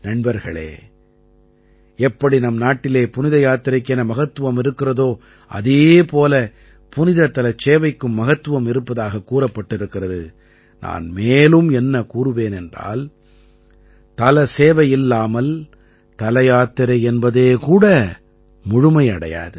நண்பர்களே எப்படி நம் நாட்டிலே புனித யாத்திரைக்கு என மகத்துவம் இருக்கிறதோ அதே போல புனிதத்தலச் சேவைக்கும் மகத்துவம் இருப்பதாகக் கூறப்பட்டிருக்கிறது நான் மேலும் என்ன கூறுவேன் என்றால் தல சேவையில்லாமல் தலயாத்திரை என்பதே கூட முழுமை அடையாது